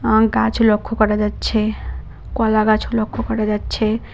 আম গাছ লক্ষ্য করা যাচ্ছে কলা গাছও লক্ষ্য করা যাচ্ছে।